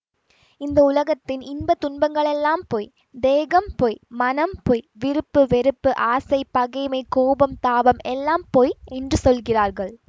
இந்த உலகத்தின் இன்ப துன்பகளெல்லாம் பொய் தேகம் பொய் மனம் பொய் விருப்பு வெறுப்பு ஆசை பகைமை கோபம் தாபம் எல்லாம் பொய் என்று சொல்கிறார்கள்